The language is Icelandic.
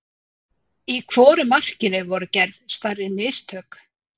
Í hvoru markinu voru gerð stærri mistök?